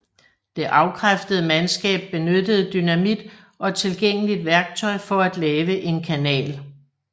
Det afkræftede mandskab benyttede dynamit og tilgængeligt værktøj for at lave en kanal